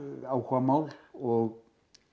áhugamál og